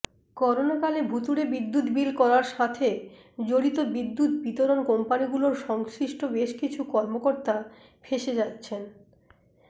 করোনাকালে ভুতুড়ে বিদ্যুৎ বিল করার সাথে জড়িত বিদ্যুৎ বিতরণ কোম্পানিগুলোর সংশ্লিষ্ট বেশকিছু কর্মকর্তা ফেঁসে যাচ্ছেন